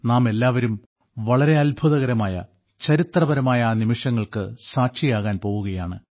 നാമെല്ലാവരും വളരെ അത്ഭുതകരമായ ചരിത്രപരമായ ആ നിമിഷങ്ങൾക്ക് സാക്ഷിയാകാൻ പോകുകയാണ്